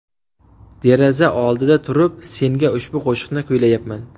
Deraza oldida turib, senga ushbu qo‘shiqni kuylayapman.